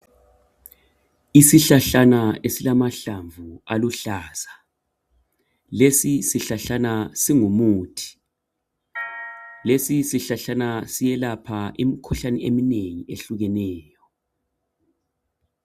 Isihlahlana esilamahlamvu aluhlaza lesi sihlahlana singumuthi lesi sihlahlana siyelapha imikhuhlane eminengi ehlukeneyo.